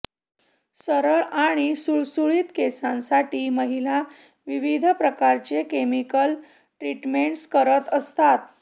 सरळ आणि सुळसुळित केसांसाठी महिला विविध प्रकारच्या केमिकल ट्रिटमेंट्स करत असतात